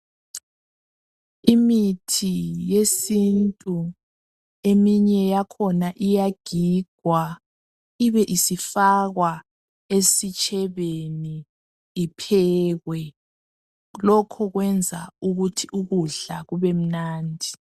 Imithi yesintu eminye yakhona iyagigwa ibesifakwa esitshebeni iphekwe. Lokhu kwenza ukuthi ukudla kubemnandi.